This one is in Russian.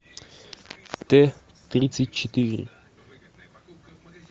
т тридцать четыре